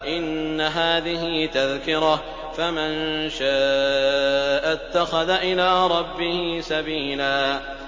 إِنَّ هَٰذِهِ تَذْكِرَةٌ ۖ فَمَن شَاءَ اتَّخَذَ إِلَىٰ رَبِّهِ سَبِيلًا